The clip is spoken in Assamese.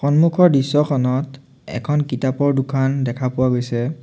সন্মুখৰ দৃশ্যখনত এখন কিতাপৰ দোকান দেখা গৈছে।